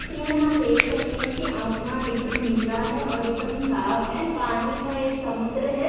चित्र मे हम देख सकते है कि आसमान एकदम नीला है और एकदम साफ है पानी का एक समुंद्र है।